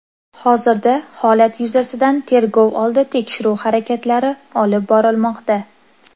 Hozirda holat yuzasidan tergov oldi tekshiruv harakatlari olib borilmoqda.